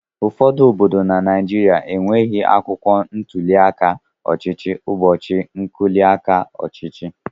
Ụfọdụ obodo na Naijiriia enweghị akwụkwọ ntuli aka ọchịchị ụbọchị ntuli aka ahụ.